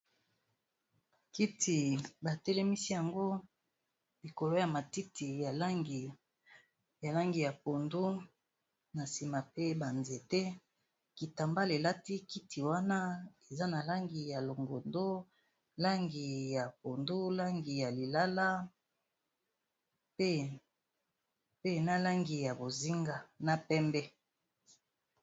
Kiti ba telemisi yango likolo ya matiti ya langi ya pondu, na nsima pe ba nzete. Kitamba elati kiti wana eza na langi ya longondo langi ya pondu, langi ya lilala, pe na langi ya bozinga, na pembe.